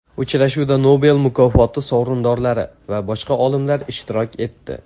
Uchrashuvda Nobel mukofoti sovrindorlari va boshqa olimlar ishtirok etdi.